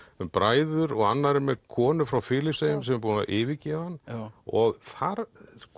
um bræður og annar er með konu frá Filippseyjum sem er búin að yfirgefa hann og þar